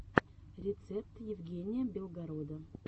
рецепт евгения белгорода